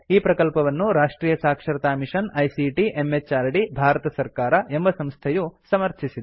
ಈ ಪ್ರಕಲ್ಪವನ್ನು ರಾಷ್ಟ್ರಿಯ ಸಾಕ್ಷರತಾ ಮಿಷನ್ ಐಸಿಟಿ ಎಂಎಚಆರ್ಡಿ ಭಾರತ ಸರ್ಕಾರ ಎಂಬ ಸಂಸ್ಥೆಯು ಸಮರ್ಥಿಸಿದೆ